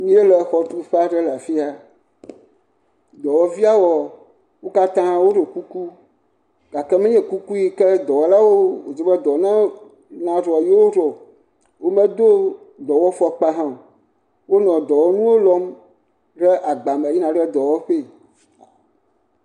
Míele xɔtuƒe aɖe le afia, dɔwɔviawoa, wo katã woɖo kuku gake menye kuku wodze be dɔwɔlawo naɖɔa, yewo ɖɔ o. Womedo dɔwɔfɔkpa hã o. Wonɔ dɔwɔnuwo lɔm ɖe agba me yina ɖe dɔwɔƒee.